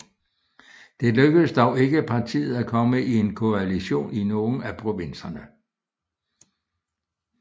Det lykkedes dog ikke partiet at komme i en koalition i nogle af provinserne